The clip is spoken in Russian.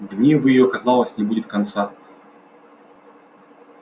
гневу её казалось не будет конца